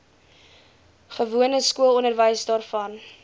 gewone skoolonderwys waarvan